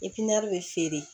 bɛ feere